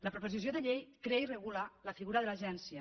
la proposició de llei ve a regular la figura de l’agència